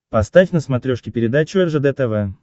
поставь на смотрешке передачу ржд тв